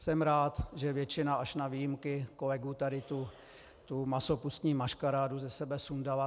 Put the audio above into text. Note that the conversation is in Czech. Jsem rád, že většina, až na výjimky, kolegů tady tu masopustní maškarádu ze sebe sundala.